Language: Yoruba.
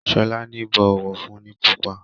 Shola ní bó ọwọ fún ní púpọ.